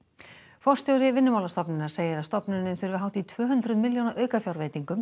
forstjóri Vinnumálastofnunar segir að stofnunin þurfi hátt í tvö hundruð milljóna aukafjárveitingu